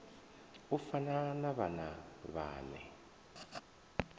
u fana na vhana vhane